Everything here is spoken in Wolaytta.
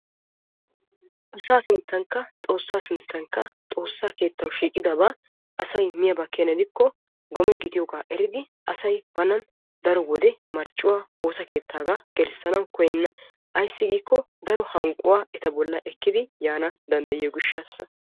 Asaa sinttankka xoossaa sinttankka xoossaa keettaw shiiqidaba asay miyaaba keena gidikko gome gidiyoogaa eridi asay banan daro wode marccuwaa woosa keettaagaa gelissanaw koyyenna. Ayssi giikko daro hanqquwaa eta bollan ekkidi yaanawu danddayiyoo gishshaassa.